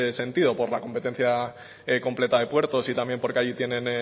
sentido por la competencia completa de puertos y también porque allí tienen